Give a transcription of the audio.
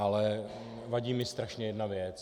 Ale vadí mi strašně jedna věc.